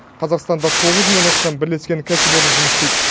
қазақстанда тоғыз мыңнан астам бірлескен кәсіпорын жұмыс істейді